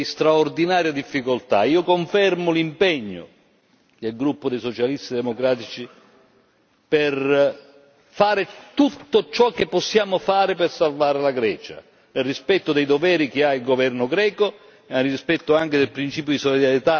Io confermo l'impegno del gruppo dei socialisti democratici per fare tutto ciò che possiamo fare per salvare la Grecia, nel rispetto dei doveri che ha il governo greco e nel rispetto anche del principio di solidarietà che anima l'Unione europea.